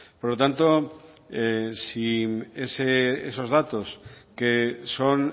por lo tanto si esos datos que son